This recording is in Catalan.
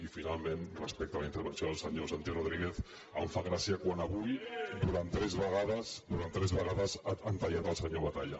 i finalment respecte a la intervenció del senyor santi rodríguez em fa gràcia quan avui durant tres vegades durant tres vegades han tallat el senyor batalla